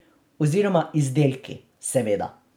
Oziroma izdelki, seveda.